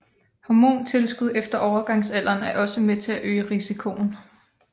Hormontilskud efter overgangsalderen er også med til at øge risikoen